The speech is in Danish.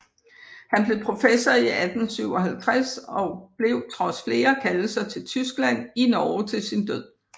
Han blev professor i 1857 og blev trods flere kaldelser til Tyskland i Norge til sin Død